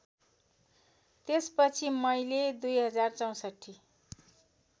त्यसपछि मैले २०६४